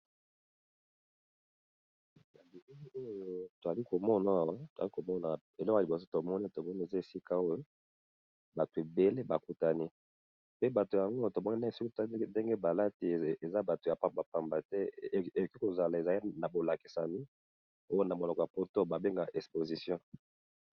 yali oyo toali komona elo na liboso tomoni tomoni eza esika oyo bato ebele bakutani pe bato yango tomonena esuki toali ndenge balati eza bato ya pambapamba te eki kozala eza na bolakisami oyo na moloko ya poto babenga ekposition